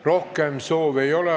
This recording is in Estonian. Rohkem kõnesoove ei ole.